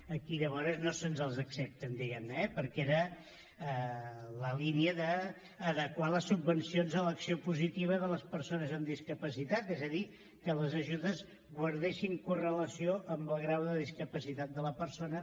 aquí llavors no se’ns accepta diguem ne eh perquè era la línia d’adequar les subvencions a l’acció positiva de les persones amb discapacitat és a dir que les ajudes guardessin correlació amb el grau de discapacitat de la persona